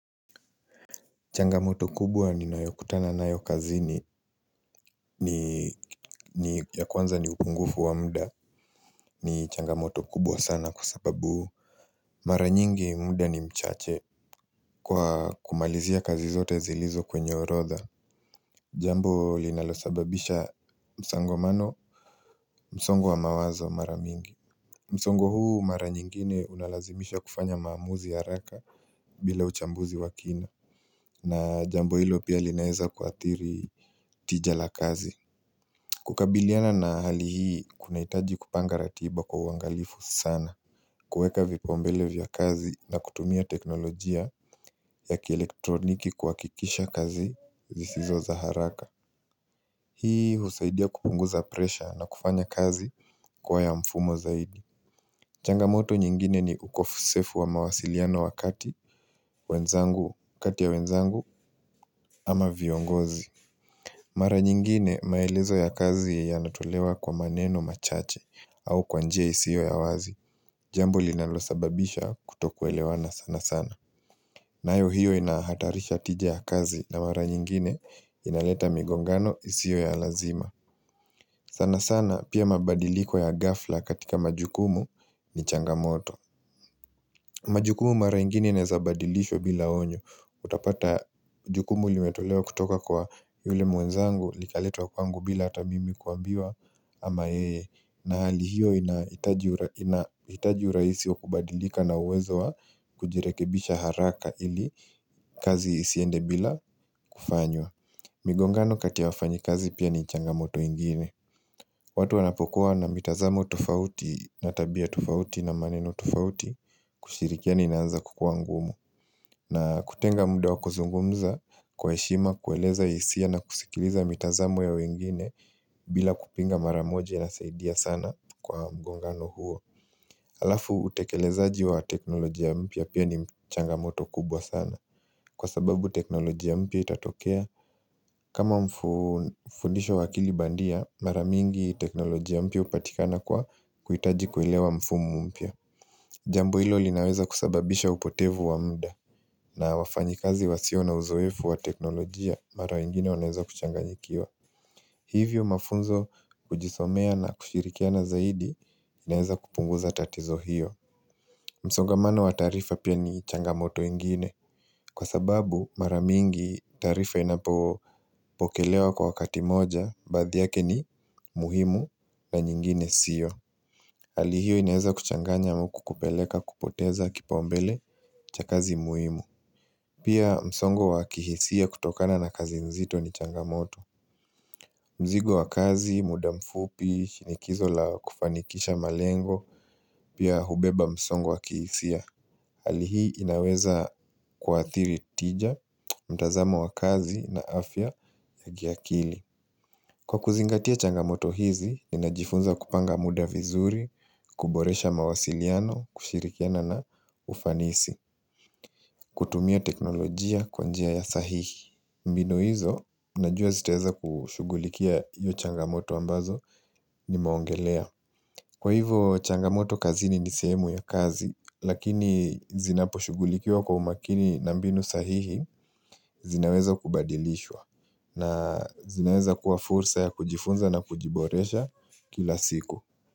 Changamoto kubwa ninayokutana nayo kazini ni ya kwanza ni upungufu wa muda ni changamoto kubwa sana kwa sababu Mara nyingi muda ni mchache Kwa kumalizia kazi zote zilizo kwenye orodha Jambo linalosababisha msangomano msongo wa mawazo mara mingi msongo huu mara nyingine unalazimisha kufanya maamuzi ya haraka bila uchambuzi wa kina na jambo hilo pia linaeza kuadhiri tija la kazi kukabiliana na hali hii, kunahitaji kupanga ratiba kwa uangalifu sana kueka vipaumbele vya kazi na kutumia teknolojia ya kielektroniki kuhakikisha kazi zisizo za haraka Hii husaidia kupunguza presha na kufanya kazi kuwa ya mfumo zaidi changamoto nyingine ni ukosefu wa mawasiliano wakati wenzangu, kati ya wenzangu ama viongozi Mara nyingine maelezo ya kazi yanatolewa kwa maneno machache au kwa njia isio ya wazi Jambo linalosababisha kutokuelewana sana sana nayo hiyo inahatarisha tija ya kazi na mara nyingine inaleta migongano isio ya lazima sana sana pia mabadiliko ya ghafla katika majukumu ni changamoto majukumu mara ingine inaeza badilishwa bila onyo Utapata jukumu limetolewa kutoka kwa yule mwenzangu likaletwa kwangu bila hata mimi kuambiwa ama yeye na hali hiyo inahitaji inahitaji urahisi wa kubadilika na uwezo wa kujirekebisha haraka ili kazi isiende bila kufanywa migongano kati ya wafanyikazi pia ni changamoto ingine watu wanapokuwa na mitazamo tofauti na tabia tofauti na maneno tofauti kushirikiani inaanza kukuwa ngumu na kutenga muda wa kuzungumza kwa heshima kueleza hisia na kusikiliza mitazamo ya wengine bila kupinga mara moja inasaidia sana kwa mgongano huo Alafu utekelezaji wa teknolojia mpya pia ni mchangamoto kubwa sana Kwa sababu teknolojia mpya itatokea kama mfundisho wa akili bandia mara mingi teknolojia mpya hupatikana kwa kuhitaji kuelewa mfumo mpya Jambo hilo linaweza kusababisha upotevu wa muda na wafanyikazi wasio na uzoefu wa teknolojia mara ingine wanaweza kuchanganyikiwa Hivyo mafunzo kujisomea na kushirikiana zaidi inaeza kupunguza tatizo hiyo msongamano wa taarifa pia ni changamoto ingine Kwa sababu mara mingi taarifa inapo pokelewa kwa wakati moja baadhi yake ni muhimu na nyingine sio Hali hio inaeza kuchanganya huku kupeleka kupoteza kipaumbele cha kazi muhimu. Pia msongo wa kihisia kutokana na kazi nzito ni changamoto. Mzigo wa kazi, muda mfupi, shinikizo la kufanikisha malengo, pia hubeba msongo wa kihisia. Hali hii inaweza kuadhiri tija, mtazamo wa kazi na afya ya kiakili. Kwa kuzingatia changamoto hizi, ninajifunza kupanga muda vizuri, kuboresha mawasiliano, kushirikiana na ufanisi, kutumia teknolojia kwa njia ya sahihi. Mbinu hizo, najua zitaweza kushughulikia iyo changamoto ambazo nimeongelea. Kwa hivo, changamoto kazini ni sehemu ya kazi, lakini zinaposhughulikia kwa umakini na mbinu sahihi, zinaweza kubadilishwa. Na zinaeza kuwa fursa ya kujifunza na kujiboresha kila siku.